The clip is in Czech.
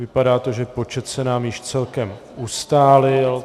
Vypadá to, že počet se nám již celkem ustálil.